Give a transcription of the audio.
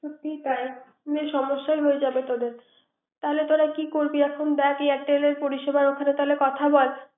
ঠিক তাই। না হলে সমস্যায় হয়ে যাবে তোদের। তাহলে তোরা কি করবি এখন। Airter পরিসেবার ওখানে তাহলে কথা বল